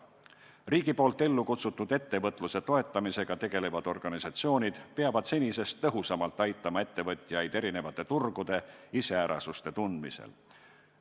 Riigi poolt ellukutsutud ettevõtluse toetamisega tegelevad organisatsioonid peavad senisest tõhusamalt aitama ettevõtjaid erinevate turgude iseärasuste tundmisel.